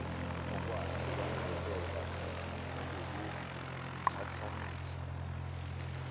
okwake kwamvelela ukuqhathanisa